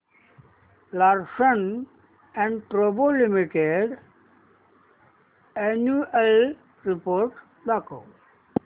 Larsen and टुर्बो limited annual report दाखव